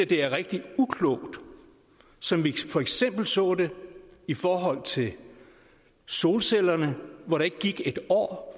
det er rigtig uklogt som vi for eksempel så det i forhold til solcellerne hvor der ikke gik et år